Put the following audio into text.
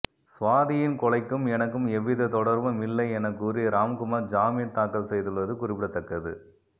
சுவாதியின் கொலைக்கும் எனக்கும் எவ்வித தொடர்பும் இல்லை என கூறி ராம்குமார் ஜாமின் தாக்கல் செய்துள்ளது குறிப்பிடத்தக்கது